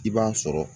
I b'a sɔrɔ